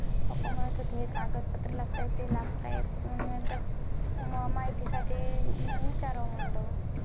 pappa म्हणत होते हे कागद पत्र लागत आहेत ते लागत आहेत मग मी माहिती साठी म्हणून विचारावं म्हणलं